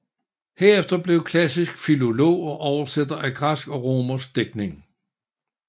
Herefter blev han klassisk filolog og oversætter af græsk og romersk digtning